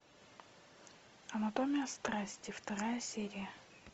анатомия страсти вторая серия